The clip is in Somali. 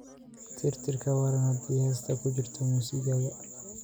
tirtir ka waran haddii heesta ku jirta muusigayga